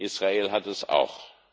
Israel hat es auch.